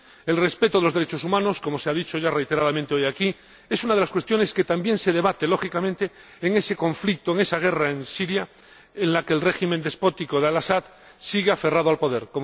El respeto de los derechos humanos, como se ha dicho ya reiteradamente hoy aquí, es una de las cuestiones que también se debate, lógicamente, en ese conflicto, en esa guerra en Siria, en la que el régimen despótico de El Asad, sigue aferrado al poder.